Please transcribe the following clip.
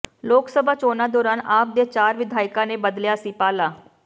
ਲੋਕਸਭਾ ਚੋਣਾਂ ਦੌਰਾਨ ਆਪ ਦੇ ਚਾਰ ਵਿਧਾਇਕਾਂ ਨੇ ਬਦਲਿਆ ਸੀ ਪਾਲਾ